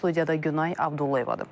Studiyada Günay Abdullayevadır.